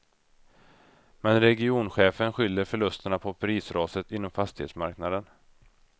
Men regionchefen skyller förlusterna på prisraset inom fastighetsmarknaden.